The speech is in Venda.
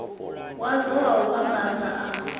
wadzo wa u vhambadza a